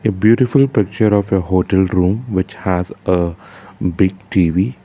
beautiful picture of a hotel room which has a big T-V